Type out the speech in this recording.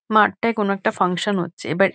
মাঠটায় কোনো একটা ফানসান হচ্ছে বাট --